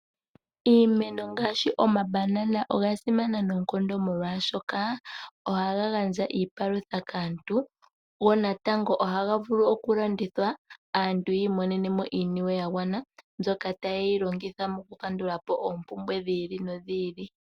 Iimeno ngaashi omabanana oga simana noonkondo molwaashoka ohaga gandja iipalutha kaantu gonatango ohaga vulu okulandithwa aantu yi imonene iisimpo yagwana ndyoka tayeyi longitha oku kandula po oompumbwe dhi ili nodhi ili.